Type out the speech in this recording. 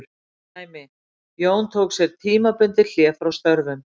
Dæmi: Jón tók sér tímabundið hlé frá störfum.